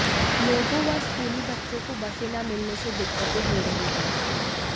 लोगों व स्कूली बच्चों को बसें न मिलने से दिक्कतें हो रही है